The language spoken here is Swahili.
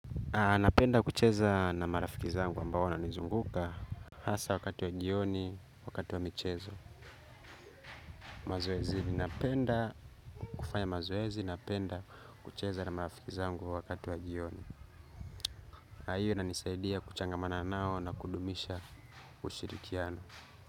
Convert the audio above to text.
Napenda kucheza na marafiki zangu ambao wananizunguka. Hasa wakati wa jioni, wakati wa michezo mazoezi, napenda kufanya mazoezi, napenda kucheza na marafiki zangu wakati wa jioni na hio inanisaidia kuchangamana nao na kudumisha ushirikiano.